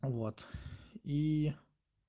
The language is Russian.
вот и